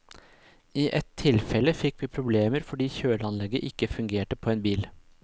I ett tilfelle fikk vi problemer fordi kjøleanlegget ikke fungerte på en bil.